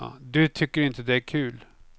Du tycker inte det är kul.